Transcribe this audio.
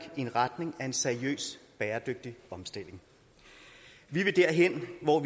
i retning af en seriøs bæredygtig omstilling vi vil derhen hvor